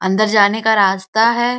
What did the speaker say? अन्दर जाने का रास्ता है।